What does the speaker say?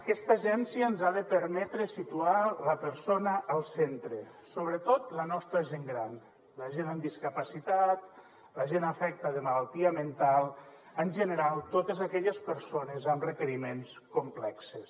aquesta agència ens ha de permetre situar la persona al centre sobretot la nostra gent gran la gent amb discapacitat la gent afecta de malaltia mental en general totes aquelles persones amb requeriments complexos